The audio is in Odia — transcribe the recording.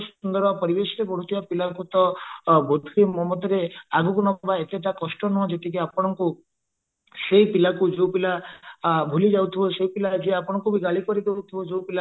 ସୁସ୍ଥ ସୁନ୍ଦର ପରିବେଶରେ ବଢୁଥିବା ପିଲା ଙ୍କୁ ତ ବୋଧହୁଏ ମୋ ମତରେ ଆଗକୁ ନବା ଏତେଟା କଷ୍ଟ ନୁହଁ ଯେତିକି ଆପଣଙ୍କୁ ସେଇ ପିଲା କୁ ଯୋଉ ପିଲା କି ଭୁଲି ଯାଉଥିବା ସେଇ ପିଲା ଯିଏ ଆପଣଙ୍କୁ ଗାଳି କରୁଦଉଥିବା ଯୋଉ ପିଲା